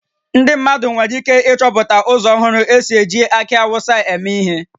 Ndị mmadụ nwere ike ịchọpụta ụzọ ọhụrụ e si eji akị Awụsa eme ihe